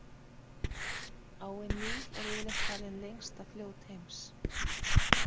Áin Níl er yfirleitt talið lengsta fljót heims.